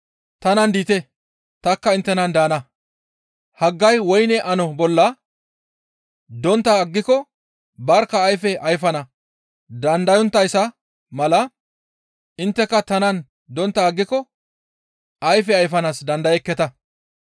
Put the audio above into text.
Tanan diite; tanikka inttenan daana; haggay woyne ano bolla dontta aggiko barkka ayfe ayfana dandayonttayssa mala intteka tanan dontta aggiko ayfe ayfanaas dandayekketa.